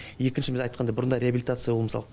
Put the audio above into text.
екінші біз айтқандай бұрында реабилитация ол мысалы